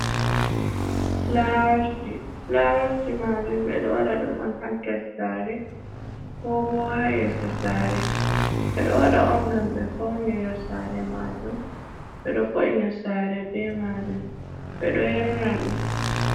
Flawaji flawaji majum ɓedo waɗa ɗum on ha nder sare ko bo ha yeso sare, ɓeɗo waɗa ɗum on ngam ɓe faunira sare majum ɓeɗo vo’ina sare be majum ɓeɗo yar na ɗum.